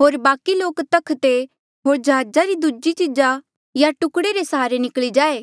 होर बाकि लोक तख्ते होर जहाजा री दूजी चीजा या टुकड़े रे सहारे निकली जाए